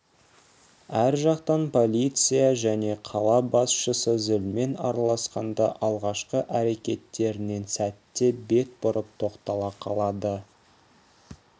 ар жақтан полиция және қала басшысы зілмен араласқанда алғашқы әрекеттерінен сәтте бет бұрып тоқтала қалады